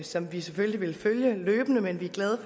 som vi selvfølgelig vil følge løbende men vi er glade